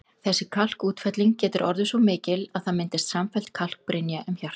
Þessi kalkútfelling getur orðið svo mikil að það myndist samfelld kalkbrynja um hjartað.